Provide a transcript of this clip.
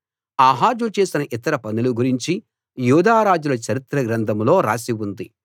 ఆహాజు చేసిన ఇతర పనుల గురించి యూదా రాజుల చరిత్ర గ్రంథంలో రాసి ఉంది